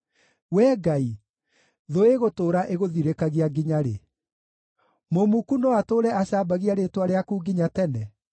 Wee Ngai, thũ ĩgũtũũra ĩgũthirĩkagia nginya rĩ? Mũmuku no atũũre acambagia rĩĩtwa rĩaku nginya tene?